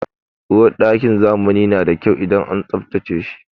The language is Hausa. Uwarɗakin zamani na da kyau idan an tsabtace shi.